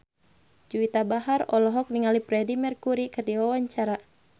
Juwita Bahar olohok ningali Freedie Mercury keur diwawancara